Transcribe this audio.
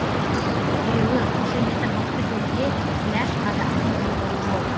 тіреуі қошеметі мықты кезде күләш қазақтың бұлбұлы болды